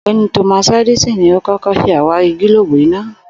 Ò̩gbé̩ni Thomas Edison ni ó kó̩kó̩ s̩e àwárí gílóòbù iná